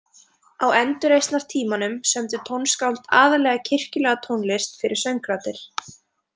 Á endurreisnartímanum sömdu tónskáld aðallega kirkjulega tónlist fyrir söngraddir.